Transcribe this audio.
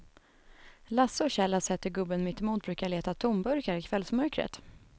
Lasse och Kjell har sett hur gubben mittemot brukar leta tomburkar i kvällsmörkret.